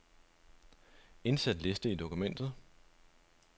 Indsæt liste i dokumentet.